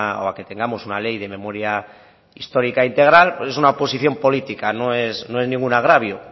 o a que tengamos una ley de memoria histórica integral pues es una posición política no es ningún agravio